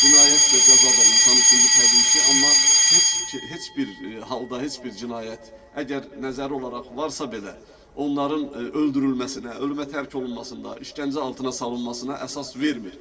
Cinayət də, cəza da insan üçündür təbii ki, amma heç heç bir halda heç bir cinayət əgər nəzəri olaraq varsa belə, onların öldürülməsinə, ölümə tərk olunmasına, işgəncə altına salınmasına əsas vermir.